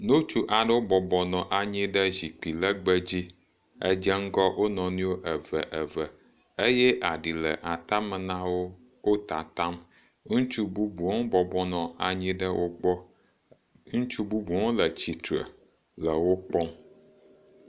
Ŋutsu aɖewo bɔbɔ nɔ anyi ɖɖe zikpui le aɖe ŋu dze ŋgɔ wo nɔenɔe wo eve eve, eye aɖi le atame na wo wó tatam. Ŋutsu bubuwo hã bɔbɔ nɔ anyi ɖe wo gbɔ. Ŋutsu bubuwo hã bɔbɔ nɔ anyi ɖe wo gbɔ,